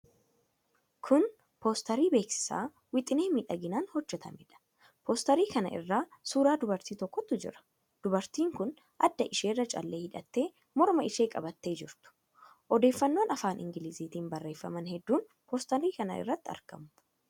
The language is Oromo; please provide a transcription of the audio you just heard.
Kun poosterii beeksisaa wixinee miidhagaadhaan hojjetameedha. Poosterii kana irra suura dubartii tokkootu jira. Dubartiin kun adda isheerra calleen hidhattee morma ishee qabattee jirtu. Odeeffannoowwan afaan Ingiliziitiin barreeffaman hedduun poosterii kana irratti argamu.